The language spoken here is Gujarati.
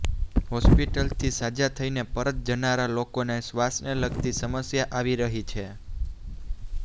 હોસ્પિટલથી સાજા થઈને પરત જનારા લોકોને શ્વાસને લગતી સમસ્યા આવી રહી છે